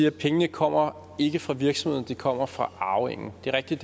at pengene ikke kommer fra virksomheden de kommer fra arvingen det er rigtigt